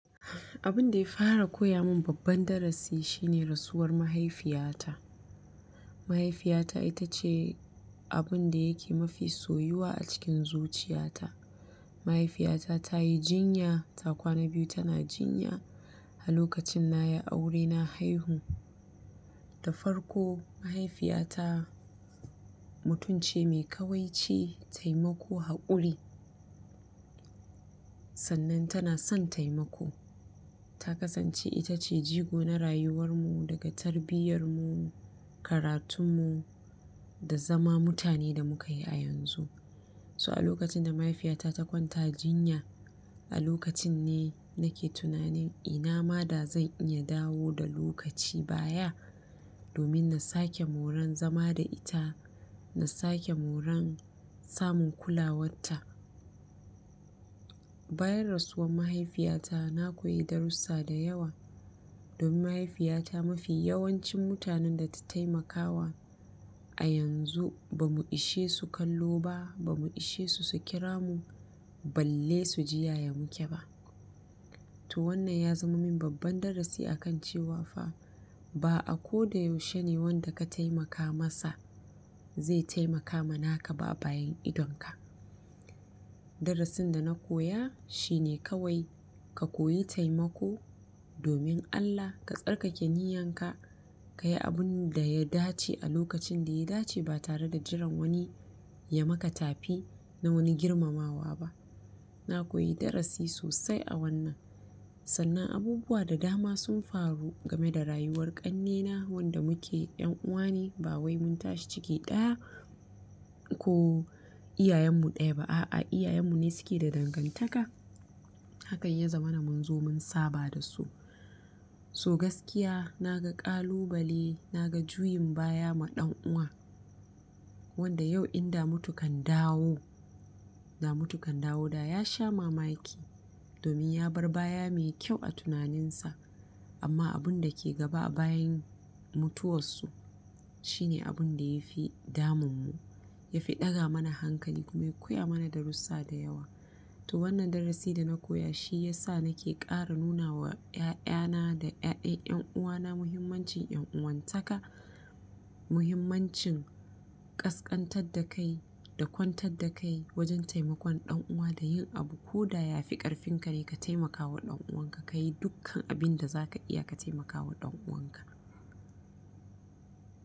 Abun ɗaya fara koyamun babban darasi shine rasuwar mahaifiyata. Mahaifiyata itace abunda yake mafi soyuwa acikin zuchiyata. Mahaifiyata tayi jinya, ta kwana biyu tana jinya alokacin nayi aure na haihu. Da farko mahaifiyata mutumce mai kawaici taimako haƙuri. Sannan tana son taimako. Ta kasance itace jigo na rayuwarmu daga tarbiyyarmu, karatunmu da zama mutane da mukayi a yanzu. So alokacin da mahaifiyata ta kwanta jinya, a lokacinne nake tunanin inama da zan iya dawo da lokaci baya domin nasake moran zama da ita, nasake moran samun kulawarta. Bayan rasuwar mahaifiyata, na koyi darussa da yawa domin mahaifiyata mafi yawancin mutanen data taimakawa a yanzu bamu ishesu kallo ba, bamu ishesu su kiramu, balle suji yays muke ba. To wannan ya zama min babban darasi a kan cewa fa ba a ko da yaushe ne wanda ka taimaka masa zai taimaka ma naka ba bayan idonka. Darasin da na koya shine kawai ka koyi taimako domin Allah, ka tsarkake niyyan ka, ka yi abun da ya dace a lokacin da ya dace ba tare da jiran wani ya maka tafi na wani girmamawa ba. Na koyi darasi sosai a wannan. Sannan abubuwa da dama sun faru game da rayuwar ƙannena wanda muke ƴan uwa ne ba wai mun tashi ciki ɗaya ko-- iyayen mu ɗaya ba a'a iyayen mu ne suke da dangantaka. Haka ya zamana munzo mun saba da su. To gaskiya na ga ƙalubale, na ga juyin baya ma ɗan'uwa wanda yau in da mutu kan dawo, da mutu kan dawo da ya sha mamaki domin ya bar baya mai kyau a tunaninsa. Amma abun da ke gaba a bayan mutuwarsu shine abun da ya fi damun mu, ya fi ɗaga mana hankali kuma ya koya mana darussa da yawa. To wannan darasi da na koya shi ya sa nake ƙara nuna wa 'ya'ya na da 'ya'yan 'yan'uwa na muhimmancin yan'uwantaka, muhimmancin ƙasƙantar da kai da kwantar da kai wajen taimakon ɗan'uwa da yin abu ko da ya fi ƙarfin ka dai ka taimakawa ɗan'uwan ka ka yi dukkan abin da za ka iya ka taimakawa ɗan'uwan ka.